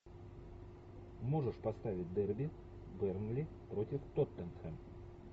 можешь поставить дерби бернли против тоттенхэм